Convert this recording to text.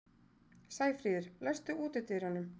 Sæfríður, læstu útidyrunum.